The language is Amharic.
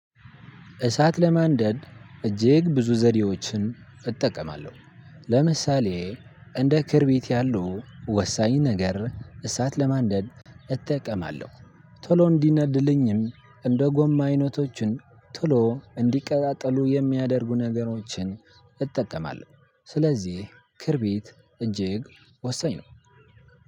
እሳት ለማንደድ እጅግ ብዙ ዘዴዎችን እጠቀማለሁ። ለምሳሌ እንደ ክርቢት ያሉ ወሳኝ ነገር እሳት ለማንደድ እጠቀማለሁ። ቶሎ እንዲነድልኝም እንደ ጎማ አይነቶችን ቶሎ እንዲቀጣጥሉ የሚያደርጉ ነገሮችን። ስለዚህ ክርቢት እጅግ ወሰኝ ነው።